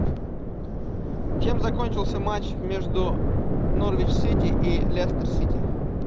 чем закончился матч между норвич сити и лестер сити